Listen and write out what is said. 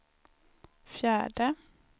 fjärde